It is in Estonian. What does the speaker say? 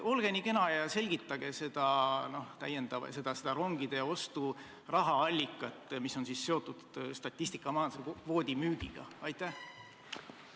Olge nii kena ja selgitage seda rongide ostu rahaallikat, mis on seotud statistikamajanduse kvoodi müügiga!